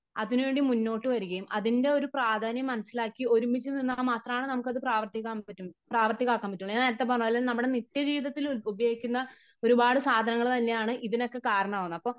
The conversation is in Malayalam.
അതിനു വേണ്ടി മുന്നോട്ട് വരികയും അതിന്റെ ഒരു പ്രാധാന്യം മനസ്സിലാക്കി ഒരുമിച്ച് നിന്നാൽ മാത്രമേ നമുക്കത് പ്രാവർത്തികമാക്കാൻ പറ്റുളളു . ഞാൻ നേരത്തെ പറഞ്ഞ പോലെ നമ്മുടെ നിത്യ ജീവിതത്തില് ഉപയോഗിക്കുന്ന ഒരുപാട് സാധനങ്ങള് തന്നെയാണ് ഇതിനൊക്കെ കാരണമാകുന്നത് .